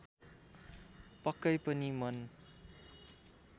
पक्कै पनि मन